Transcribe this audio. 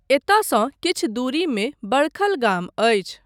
एतयसँ किछु दूरीमे बडखल गाम अछि।